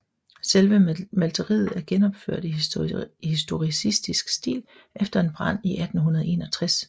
Selve malteriet er genopført i historicistisk stil efter en brand i 1861